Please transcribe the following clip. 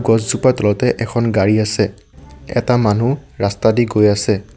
গছজোপাৰ তলতে এখন গাড়ী আছে এটা এজন মানুহ ৰাস্তাদি গৈ আছে।